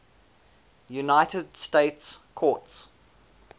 united states courts